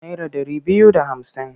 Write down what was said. Naira ɗari biyu da hamsin?